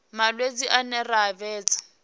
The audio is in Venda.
malwadze ane ra a vhidza